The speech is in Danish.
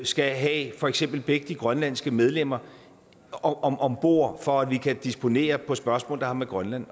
skal have for eksempel begge de grønlandske medlemmer om om bord for at vi kan disponere på spørgsmål der har med grønland